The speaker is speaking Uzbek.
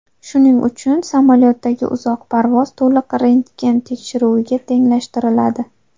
Shuning uchun samolyotdagi uzoq parvoz to‘liq rentgen tekshiruviga tenglashtiriladi.